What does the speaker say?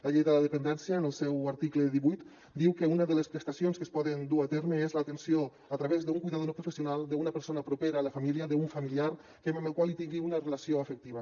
la llei de la dependència en el seu article divuit diu que una de les prestacions que es poden dur a terme és l’atenció a través d’un cuidador no professional d’una persona propera a la família d’un familiar amb el qual tingui una relació afectiva